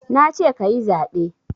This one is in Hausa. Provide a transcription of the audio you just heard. Nace kayi zaɓe